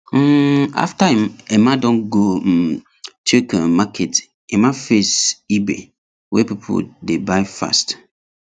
um after emma don go um check um market emma face ebay wey people dey buy fast